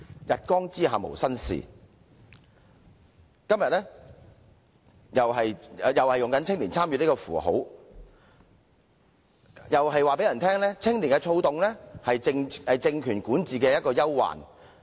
日光之下無新事，今天同樣是利用青年參與這個符號，但亦不忘告訴大家，青年躁動是政權管治的憂患。